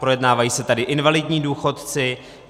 Projednávají se tady invalidní důchodci.